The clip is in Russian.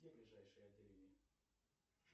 где ближайшее отделение